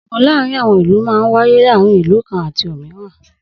Ogun láàárín àwọn ìlú máa ń wáyé láàárín ìlú kan àti òmíràn.